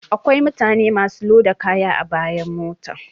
Akwai mutane masu loda kaya a bayan mota